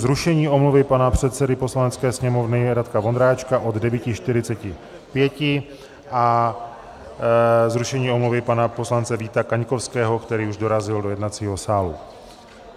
Zrušení omluvy pana předsedy Poslanecké sněmovny Radka Vondráčka od 9.45 a zrušení omluvy pana poslance Víta Kaňkovského, který už dorazil do jednacího sálu.